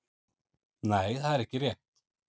Nei það er ekki rétt.